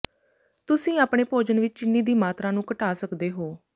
ਤੁਸੀਂ ਆਪਣੇ ਭੋਜਨ ਵਿਚ ਚੀਨੀ ਦੀ ਮਾਤਰਾ ਨੂੰ ਘਟਾ ਸਕਦੇ ਹੋ